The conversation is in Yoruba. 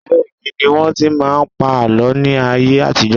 Abẹ́ igi ni wọ́n tí máa ń pa àlọ́ ní ayé àtijọ́.